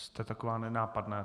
Jste taková nenápadná...